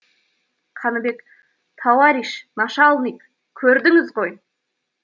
қаныбек тауариш нашалник көрдіңіз ғой